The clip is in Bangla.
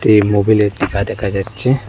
এই মবিলের টিকা দেখা যাচ্ছে।